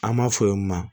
An b'a fɔ o ma